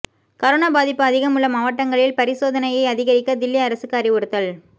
corona பாதிப்பு அதிகம் உள்ள மாவட்டங்களில்பரிசோதனையை அதிகரிக்க தில்லி அரசுக்கு அறிவுறுத்தல்